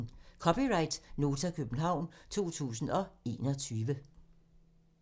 (c) Nota, København 2021